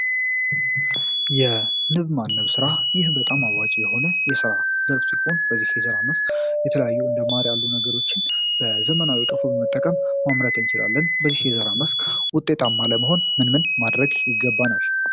የንብ ማነብ ሥራ ይህ በጣም አዋጪ የሆነ የሥራ ዘርፍ ሲሆን በዚህ የዘራ መስክ የተለያዩ እንደማሪ ያሉ ነገሮችን በዘመናዊ ቀፉ በመጠቀም ማምረት ንችላለን በዚህ የዘራ መስክ ውጤጣማለመሆን ምንምን ማድረግ ይገባናል።